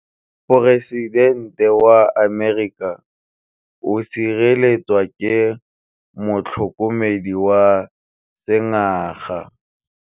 Poresitêntê wa Amerika o sireletswa ke motlhokomedi wa sengaga.